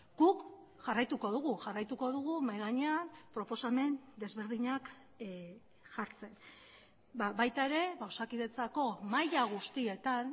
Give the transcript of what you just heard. guk jarraituko dugu jarraituko dugu mahai gainean proposamen desberdinak jartzen baita ere osakidetzako maila guztietan